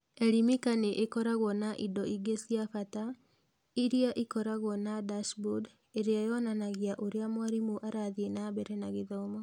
Elimika nĩ ĩkoragwo na indo ingĩ cia bata iria ikoragwo na dashboard ĩrĩa yonanagia ũrĩa mwarimũ arathiĩ na mbere na gĩthomo.